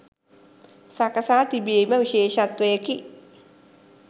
සකසා තිබීම විශේෂත්වයකි.